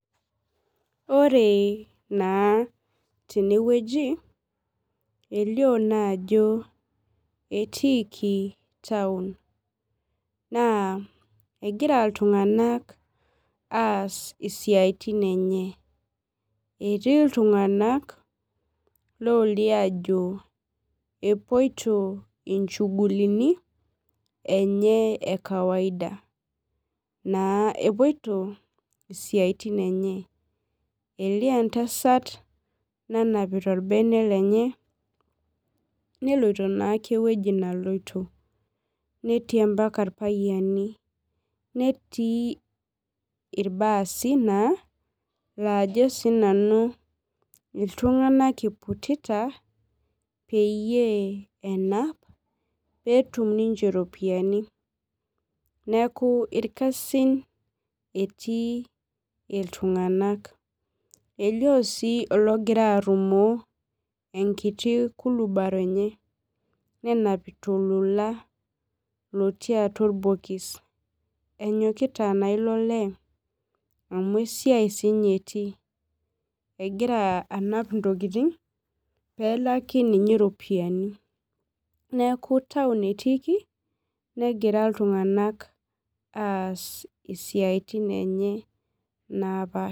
Ore na tenewueji elio naajo etiiki taun na egira ltunganak aas siatin enye etii ltunganak olio ajo apoito nchugulini enye ekawaida na epuoto isiatin enye elio entasat nanapita orbene lenye neloito na ewoi naloitonetii mbaka irpayiani, netii irbaasi naa lajo sinanu ltunganak iputita peyie enap peetum ninche iropiyani neaku irkasin etii ltunganak elio si ologira arumo enkiti kulubaro enye nenapita ololola otii atua orbokis ilo lee amu esiai sinye etii egira anap intokitin pelaki ninche iropiyani neaku tau etiiki negira ltunganak aas siatin enye napaasha.